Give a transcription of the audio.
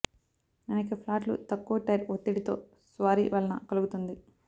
అనేక ఫ్లాట్లు తక్కువ టైర్ ఒత్తిడి తో స్వారీ వలన కలుగుతుంది